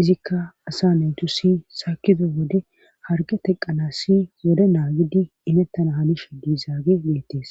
izikka asa naytussi saakkido wode hargge teqqanassi wode naagidi imettana hanishe diizaage beettes.